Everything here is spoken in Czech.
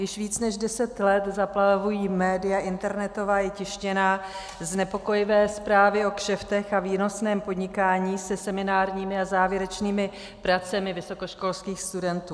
Již víc než deset let zaplavují média, internetová i tištěná, znepokojivé zprávy o kšeftech a výnosném podnikání se seminárními a závěrečnými pracemi vysokoškolských studentů.